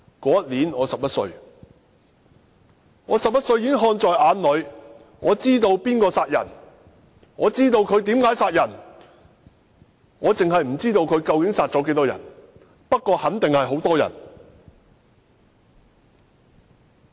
那年我11歲，我11歲已看在眼裏，知道誰殺人，知道他們為何殺人，只是不知道他們究竟殺了多少人，不過肯定為數不少。